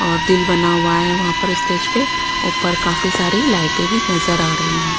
और दिल बना हुआ है वहाँ पर स्टेज पे ऊपर काफी सारी लाइटें भी नजर आ रही हैं।